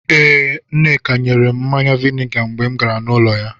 Ee, Nneka nyere m mmanya vainga mgbe m gara n'ụlọ ya.